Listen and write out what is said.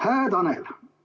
Hää Tanel!